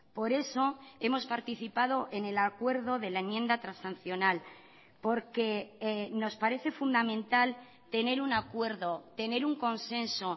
por eso hemos participado en el acuerdo de la enmienda transaccional porque nos parece fundamental tener un acuerdo tener un consenso